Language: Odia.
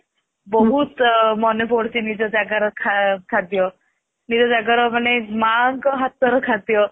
ବହୁତ ମନେ ପଡୁଛି ନିଜ ଜାଗା ର ଖାଦ୍ୟ ନିଜ ଜାଗା ର ମାନେ ମା ଙ୍କ ହାତ ର ଖାଦ୍ୟ